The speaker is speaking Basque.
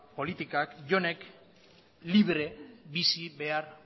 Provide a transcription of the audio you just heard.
politikak jonek libre bizi behar